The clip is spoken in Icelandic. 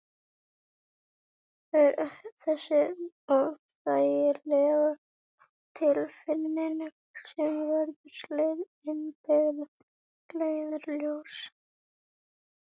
Það er þessi óþægilega tilfinning sem verður hið innbyggða leiðarljós.